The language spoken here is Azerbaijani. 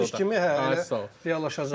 kimi, bəli, reallaşacaq.